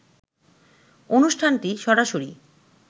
অনুষ্ঠানটি সরাসরি